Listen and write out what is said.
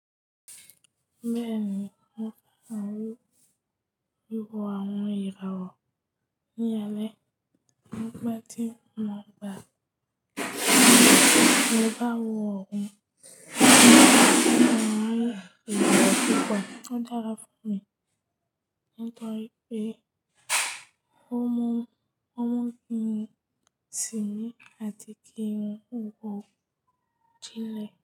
Bẹ́ẹ̀ni, mò ń fẹ́ àwọn irun wíwò àwọn ìràwọ̀. Ní alẹ́, mo gba tí mo gba, mo bá wọ òrùn, mo máa lo àwọn èrò púpọ̀. Ó dára fún mi nítorí pé ó mú, ó mú mi tì mí àti kí wọn wò dílẹ̀.